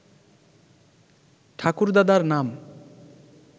ঠাকুরদাদার নাম